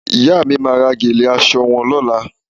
Ìyá mi máa rán gèlè aṣọ wọn lọ́la